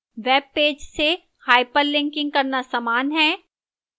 web page से hyperlinking करना समान है